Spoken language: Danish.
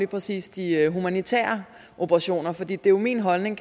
præcis de humanitære operationer for det er jo min holdning